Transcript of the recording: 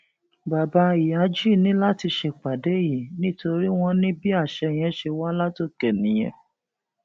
bàbá ìyájí ní láti ṣèpàdé yìí nítorí wọn ní bí àṣẹ yẹn ṣe wá látòkè nìyẹn